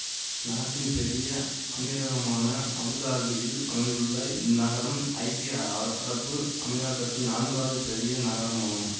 நாட்டின் பெரிய அமீரகமான அபுதாபியில் அமைந்துள்ள இந்நகரம் ஐக்கிய அரபு அமீரகத்தின் நான்காவது பெரிய நகரமாகும்